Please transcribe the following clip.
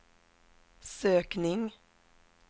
sökning